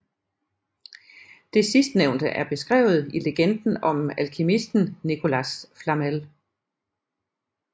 Det sidstnævnte er beskrevet i legenden om alkemisten Nicolas Flamel